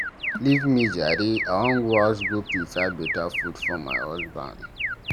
Leave me jare, I wan go house go prepare beta food for my husband.